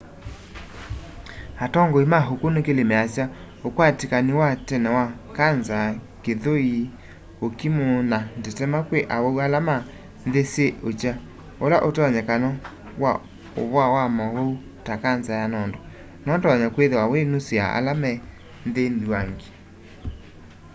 atongoi ma ũkunĩkĩli measya ũkwatĩkani wa tene wa kanza kĩthũĩ ũkimu na ndetema kwĩ awau ala me nthĩ syĩ ĩkya kũla ũtonyekano wa'ũvoa wa maũwau ta kanza ya nondo noũtonye kwĩthĩwa wĩ nusu ya ala me nthĩ nthuangi